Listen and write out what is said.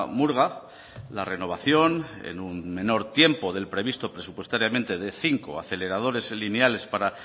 murga la renovación en un menor tiempo del previsto presupuestariamente de cinco aceleradores lineales para